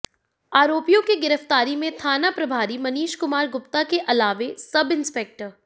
आरोपियों के गिरफ्तारी में थाना प्रभारी मनीष कुमार गुप्ता के अलावे सब इंस्पेक्टर